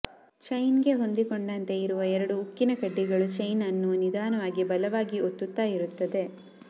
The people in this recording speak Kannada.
ಚೈನ್ಗೆ ಹೊಂದಿಕೊಂಡಂತೆ ಇರುವ ಎರಡು ಉಕ್ಕಿನ ಕಡ್ಡಿಗಳು ಚೈನನ್ನು ನಿಧಾನವಾಗಿ ಬಲವಾಗಿ ಒತ್ತುತ್ತ ಇರುತ್ತದೆ